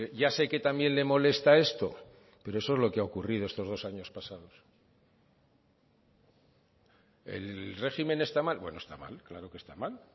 ya sé que también le molesta esto pero eso es lo que ha ocurrido estos dos años pasados el régimen está mal bueno está mal claro que está mal